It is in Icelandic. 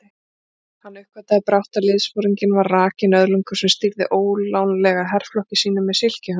Hann uppgötvaði brátt að liðsforinginn var rakinn öðlingur sem stýrði ólánlega herflokki sínum með silkihönskum.